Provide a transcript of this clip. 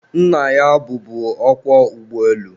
nna ya bụbu ọkwọ ụgbọelu